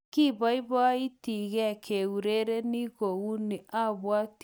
Kipoipoitike keurereni kouni, apwati kounotok